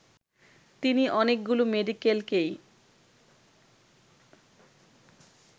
তিনি অনেকগুলো মেডিকেলকেই